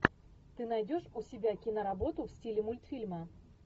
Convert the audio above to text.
ты найдешь у себя киноработу в стиле мультфильма